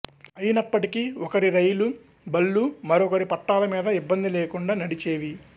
అయినప్పటికీ ఒకరి రైలు బళ్లు మరొకరి పట్టాల మీద ఇబ్బంది లేకుండా నడిచేవి